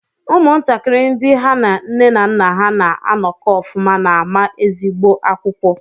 Ụmụntakịrị ndị ha na nne na nna ha na-anọkọ ọfụma na-ama ezigbo akwụkwọ.